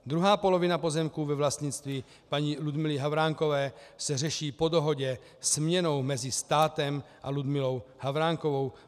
Druhá polovina pozemků ve vlastnictví paní Ludmily Havránkové se řeší po dohodě směnou mezi státem a Ludmilou Havránkovou.